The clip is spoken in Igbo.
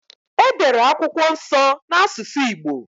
E dere akwụkwọ nso n’asusụ Igbo